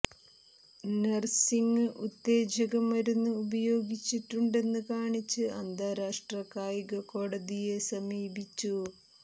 നര്സിങ് ഉത്തേജക മരുന്ന് ഉപയോഗിച്ചിട്ടുണ്ടെന്ന് കാണിച്ച് അന്താരാഷ്ട്ര കായിക കോടതിയെ സമീപിച്ചു